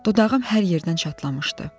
Dodağım hər yerdən çatlamışdı.